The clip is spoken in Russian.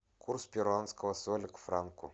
курс перуанского соля к франку